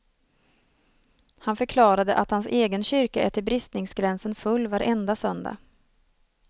Han förklarade att hans egen kyrka är till bristningsgränsen full varenda söndag.